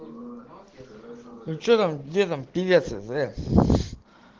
ну че там где там певец из с